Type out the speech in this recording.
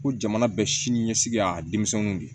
Ko jamana bɛ sini ɲɛsigi y'a denmisɛnninw de